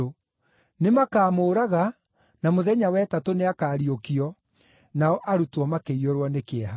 Nĩmakamũũraga, na mũthenya wa ĩtatũ nĩakariũkio.” Nao arutwo makĩiyũrwo nĩ kĩeha.